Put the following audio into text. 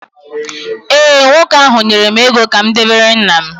ee, nwoke ahụ nyere m ego ka m debere nna m